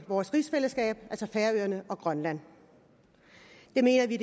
vores rigsfællesskab altså færøerne og grønland det mener vi